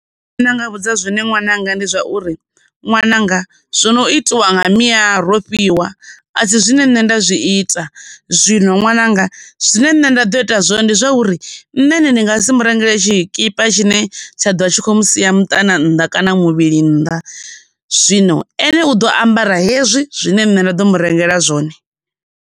Zwine ndi nga vhudza zwone ṅwananga ndi zwauri ṅwananga zwo no itiwa nga mia Rofhiwa asi zwine nṋe nda zwi ita. Zwino ṅwananga zwine nṋe nda ḓo ita zwone ndi zwauri nṋe ene ndi nga si murengele tshikipa tshine tsha ḓo vha tshi khou sia muṱaṋa nnḓa kana muvhili nnḓa zwino ene u ḓo ambara hezwi zwine nṋe nda ḓo mu rengela zwone.